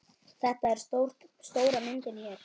Þetta er stóra myndin hér.